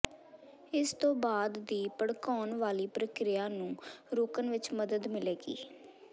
ਇਸ ਤੋਂ ਬਾਅਦ ਦੀ ਭੜਕਾਉਣ ਵਾਲੀ ਪ੍ਰਕਿਰਿਆ ਨੂੰ ਰੋਕਣ ਵਿਚ ਮਦਦ ਮਿਲੇਗੀ